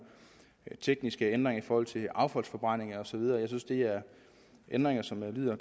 tekniske ændringer i forhold til affaldsforbrænding og så videre jeg synes det er ændringer som lyder